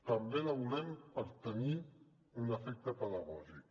també la volem per tenir un efecte pedagògic